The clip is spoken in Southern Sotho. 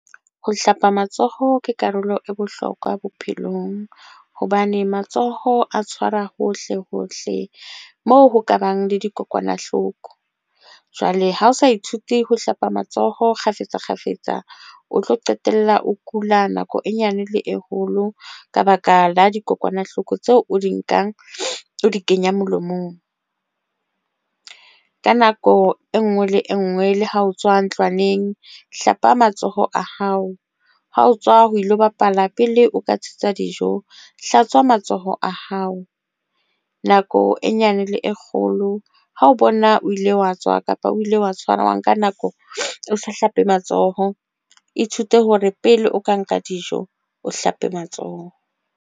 Ho hlapa matsoho ke karolo e bohlokwa bophelong hobane matsoho a tshwara hohle hohle moo ho kabang le dikokwanahloko. Jwale ha o sa ithuti ho hlapa matsoho kgafetsa kgafetsa, o tlo qetella o kula nako e nyane le e holo ka baka la dikokwanahloko tseo o di nkang, o di kenya molomong ka nako e nngwe le e nngwe. Le ha o tswa ntlwaneng, hlapa matsoho a hao ha o tswa ho ilo bapala. Pele o ka thusa dijo, hlatswa matsoho a hao nako e nyane le e kgolo ho o bona O ile wa tswa kapa o ile wa tshwana, wa nka nako, o hlape matsoho. Ithute hore pele o ka nka dijo, o hlape matsoho.